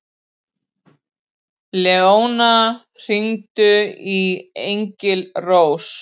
Leóna, hringdu í Engilrós.